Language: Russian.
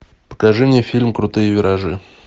покажи мне фильм крутые виражи